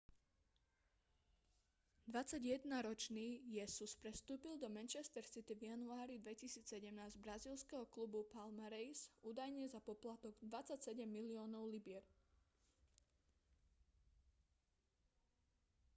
21-ročný jesus prestúpil do manchester city v januári 2017 z brazílskeho klubu palmeiras údajne za poplatok 27 miliónov libier